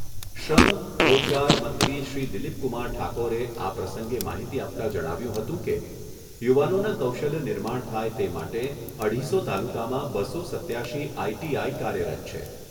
શ્રમ, રોજગાર મંત્રી શ્રી દિલીપકુમાર ઠાકોરે આ પ્રસંગે માહિતી આપતાં જણાવ્યુંં હતું કે, યુવાનોના કૌશલ્ય નિર્માણ થાય તે માટે અઢીસો તાલુકામાં બસો સત્યાશી આઈટીઆઈ કાર્યરત છે.